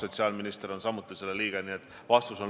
Sotsiaalminister on samuti selle komisjoni liige.